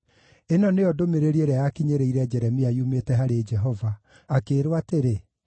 Ĩno nĩyo ndũmĩrĩri ĩrĩa yakinyĩrĩire Jeremia yumĩte harĩ Jehova, akĩĩrwo atĩrĩ: